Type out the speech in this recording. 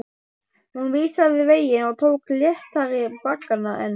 Hún vísaði veginn og tók léttari baggana en